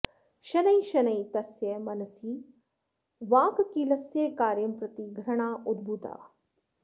शनैः शनैः तस्य मनसि वाक्कीलस्य कार्यं प्रति घृणा उद्भूता